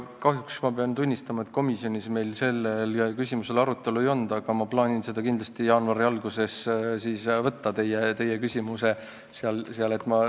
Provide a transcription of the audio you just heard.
Kahjuks pean tunnistama, et komisjonis meil seda küsimust arutelu all ei olnud, aga ma plaanin kindlasti jaanuari alguses võtta teie küsimuse arutelule.